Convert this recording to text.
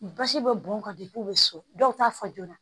Basi bɛ bɔn ka di u be so dɔw t'a fɔ joona